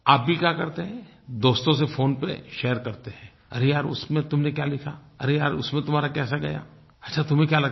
आप भी क्या करते हैं दोस्तों से फ़ोन पर शेयर करते हैं अरे यार उसमें तुमने क्या लिखा अरे यार उसमें तुम्हारा कैसा गया अच्छा तुम्हें क्या लगा